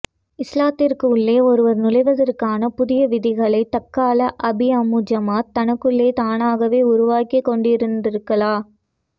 இஸ்லாத்தின் உள்ளே ஒருவர் நுழைவதற்கான புதிய விதிகளைத் தக்கலை அபீஅமு ஜமாத் தனக்குள் தானாகவே உருவாக்கிக்கொண்டிருந்திருக்கலா